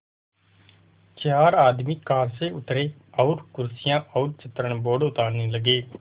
चार आदमी कार से उतरे और कुर्सियाँ और चित्रण बोर्ड उतारने लगे